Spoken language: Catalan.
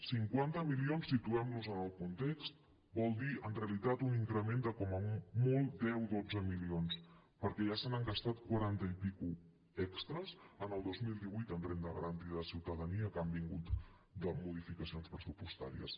cinquanta milions situem nos en el context vol dir en realitat un increment de com a molt deu dotze milions perquè ja se n’han gastat quaranta i escaig extres en el dos mil divuit en renda garantida de ciutadania que han vingut de modificacions pressupostàries